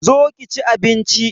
Zo ki chi abinchi